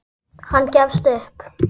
Hann gefst upp.